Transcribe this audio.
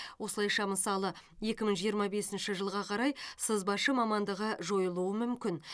осылайша мысалы екі мың жиырма бесінші жылға қарай сызбашы мамандығы жойылуы мүмкін